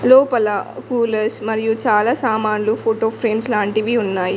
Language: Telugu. లోపల కూలర్స్ మరియు చాలా సామాన్లు ఫోటో ఫ్రేమ్స్ లాంటివి ఉన్నాయి.